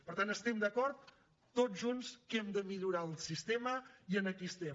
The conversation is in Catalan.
per tant estem d’acord tots junts que hem de millorar el sistema i aquí estem